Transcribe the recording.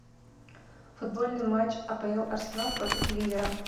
футбольный матч апл арсенал против ливера